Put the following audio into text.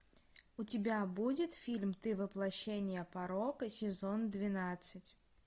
у тебя будет фильм ты воплощение порока сезон двенадцать